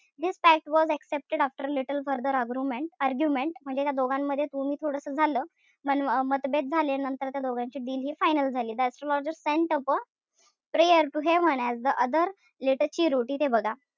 This pact was accepted after little further argument argument म्हणजे त्या दोघांमध्ये थोडस तू-मी झालं. पण मतभेद झाले. नंतर त्या दोघांची deal हि final झाली. The astrologer sent a prayer to heaven as the other lit a cheroot.